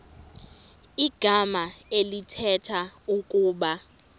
igama elithetha ukuba